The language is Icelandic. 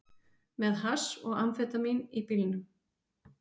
Með hass og amfetamín í bílnum